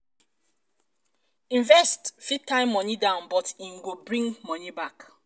investment fit tie money down but im um go bring money back